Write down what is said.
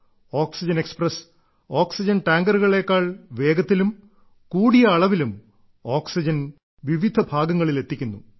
oxygen express oxygen ടാങ്കറുകളേക്കാൾ വേഗത്തിലും കൂടിയ അളവിലും ഓക്സിജൻ വിവിധ ഭാഗങ്ങളിൽ എത്തിക്കുന്നു